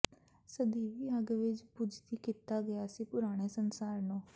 ਸਦੀਵੀ ਅੱਗ ਵਿੱਚ ਬੁਝਦੀ ਕੀਤਾ ਗਿਆ ਸੀ ਪੁਰਾਣੇ ਸੰਸਾਰ ਨੂੰ